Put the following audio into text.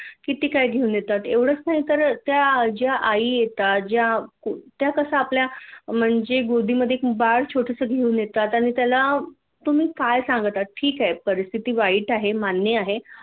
किती काय घेऊन येतात एवढच नाही तर त्या ज्या आई येतात ज्या त्या कश्या आपल्या म्हणजे गोदी मधे एक बाळ छोटस घेऊन येतात आणि त्याला तुम्ही काय सांगता ठिक आहे परिस्थिती वाईट आहे मान्य आहे